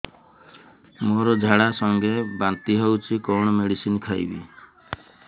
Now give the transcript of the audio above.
ମୋର ଝାଡା ସଂଗେ ବାନ୍ତି ହଉଚି କଣ ମେଡିସିନ ଖାଇବି